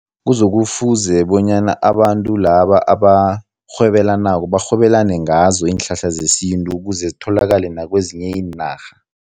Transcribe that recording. Kuzokufuze bonyana abantu laba abarhwebelanako barhwebelane ngazo iinhlahla zesintu ukuze zitholakale nakwezinye iinarha.